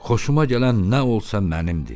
Xoşuma gələn nə olsa mənimdir.